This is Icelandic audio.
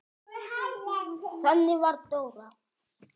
Þannig var Dóra.